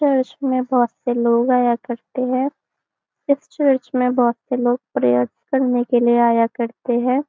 Church में बहुत से लोग आया करते है इस चर्च में बहुत से लोग प्रेयर करने के लिए आया करते है।